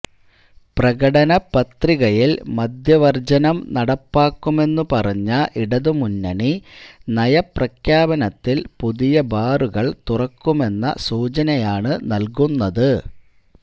പ്രകടനപത്രികയില് മദ്യവര്ജനം നടപ്പാക്കുമെന്നുപറഞ്ഞ ഇടതുമുന്നണി നയപ്രഖ്യാപനത്തില് പുതിയ ബാറുകള് തുറക്കുമെന്ന സൂചനയാണ് നല്കുന്നത്